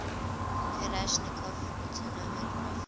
kalashnikov automatic rifle